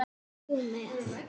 Kemur þú með?